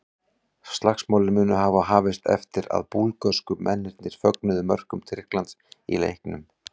Slagsmálin munu hafa hafist eftir að búlgörsku mennirnir fögnuðu mörkum Tyrklands í leiknum.